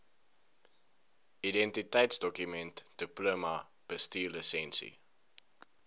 identiteitsdokument diploma bestuurslisensie